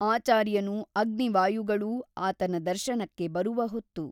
ಆಚಾರ್ಯನೂ ಅಗ್ನಿವಾಯುಗಳೂ ಆತನ ದರ್ಶನಕ್ಕೆ ಬರುವ ಹೊತ್ತು.